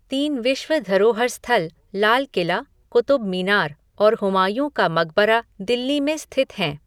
तीन विश्व धरोहर स्थल लाल किला, क़ुतुब मीनार और हुमायूँ का मकबरा दिल्ली में स्थित हैं।